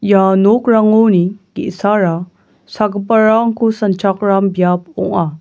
ia nokrangoni ge·sara sagiparangko sanchakram biap ong·a.